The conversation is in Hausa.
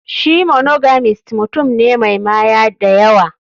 Shi monogamist mutum ne Mai Maya dayawa.